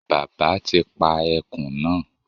Bàbá ti pa ẹkùn náà